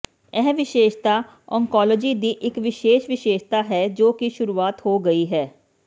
ਇਹ ਵਿਸ਼ੇਸ਼ਤਾ ਓਨਕੋਲੋਜੀ ਦੀ ਇਕ ਵਿਸ਼ੇਸ਼ ਵਿਸ਼ੇਸ਼ਤਾ ਹੈ ਜੋ ਕਿ ਸ਼ੁਰੂਆਤ ਹੋ ਗਈ ਹੈ